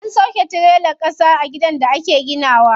An sauƙe tirelar ƙasa a gidan da ake gina wa.